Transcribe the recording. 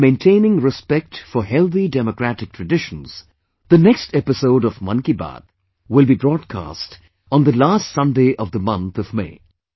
In maintainingrespect for healthy democratic traditions, the next episode of 'Mann KiBaat' will be broadcast on the last Sunday of the month of May